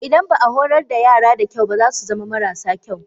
Idan ba a horar da yara da kyau ba za su zama marasa kyau.